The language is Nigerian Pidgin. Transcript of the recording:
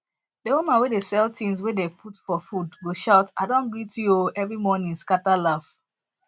the woman wey dey sell things wey dem dey put for food go shout i don greet you o every morning scatter laugh